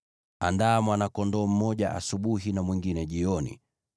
Andaa mwana-kondoo mmoja asubuhi na mwingine jioni,